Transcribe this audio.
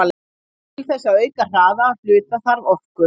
Til þess að auka hraða hluta þarf orku.